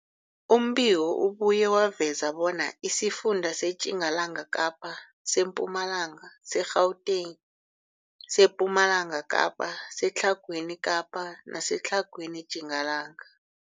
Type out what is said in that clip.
Umbiko ubuye waveza bona isifunda seTjingalanga Kapa, seMpumalanga, seGauteng, sePumalanga Kapa, seTlhagwini Kapa neseTlhagwini Tjingalanga.